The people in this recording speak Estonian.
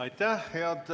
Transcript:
Aitäh!